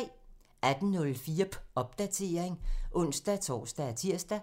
18:04: Popdatering (ons-tor og tir)